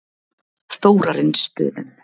Þórarinsstöðum